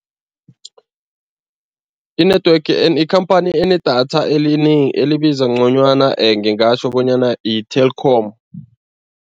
I-network ikhamphani enedatha elibiza ngconywana ngingatjho bonyana i-Telkom.